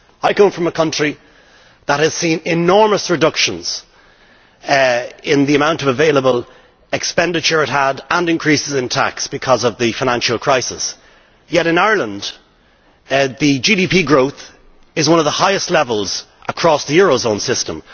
I come from a country that has seen enormous reductions in the amount of available expenditure and increases in tax because of the financial crisis, yet in Ireland the GDP growth is at one of the highest levels across the eurozone system.